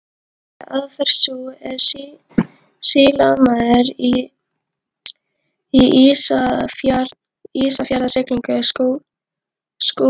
Með því að aðferð sú, er sýslumaður í Ísafjarðarsýslu Skúli